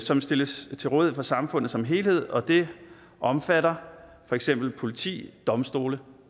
som stilles til rådighed for samfundet som helhed og det omfatter for eksempel politi domstole